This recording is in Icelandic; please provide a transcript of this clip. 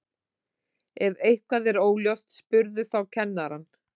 Ef eitthvað er óljóst spurðu þá kennarann.